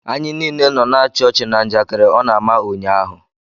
Anyị niile nọ na-achi ọchi na njakịrị ọ na-ama ụnyaahụ.